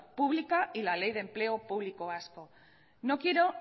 pública y la ley de empleo público vasco no quiero